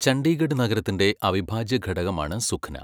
ചണ്ഡീഗഡ് നഗരത്തിന്റെ അവിഭാജ്യ ഘടകമാണ് സുഖ്ന.